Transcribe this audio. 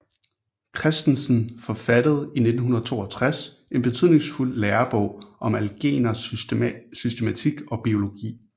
Christensen forfattede i 1962 en betydningsfuld lærebog om algernes systematik og biologi